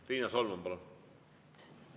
Riina Solman, palun!